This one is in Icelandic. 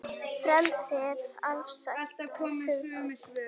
Frelsi er afstætt hugtak